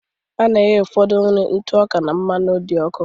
A na-ehee ụfọdụ nri ntụ ọka na mmanụ dị ọkụ